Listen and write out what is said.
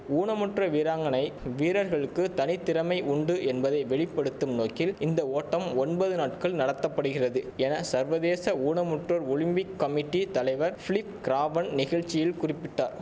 ஊனமுற்ற வீராங்கனை வீரர்களுக்கு தனித்திறமை உண்டு என்பதை வெளி படுத்தும் நோக்கில் இந்த ஓட்டம் ஒன்பது நாட்கள் நடத்த படுகிறது என சர்வதேச ஊனமுற்றோர் ஒலிம்பிக் கமிட்டி தலைவர் பிலிப் கிராவன் நிகழ்ச்சியில் குறிப்பிட்டார்